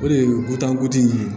O de ye butan kotigi ye